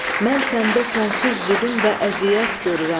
Mən səndə sonsuz zülm və əziyyət görürəm.